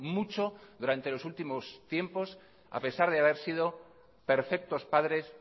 mucho durante los últimos tiempos a pesar de haber sido perfectos padres